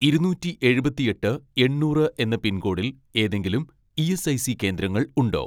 ഇരുനൂറ്റി എഴുപത്തിയെട്ട് എണ്ണൂറ് എന്ന പിൻകോഡിൽ ഏതെങ്കിലും ഇ.എസ്.ഐ.സി കേന്ദ്രങ്ങൾ ഉണ്ടോ